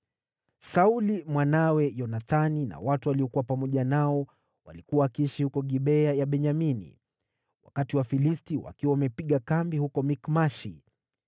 Sauli, mwanawe Yonathani na watu waliokuwa pamoja nao walikuwa wakiishi huko Gibea ya Benyamini, wakati Wafilisti wakiwa wamepiga kambi huko Mikmashi.